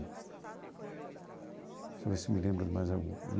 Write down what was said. Deixa eu ver se me lembro de mais algum.